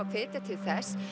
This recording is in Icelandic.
að hvetja til þess